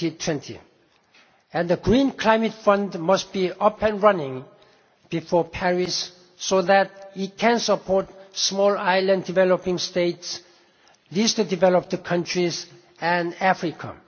by 2020. And the Green Climate Fund must be up and running before Paris so that it can support Small Island Developing States, Least Developed Countries and Africa.